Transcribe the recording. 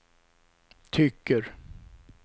tycker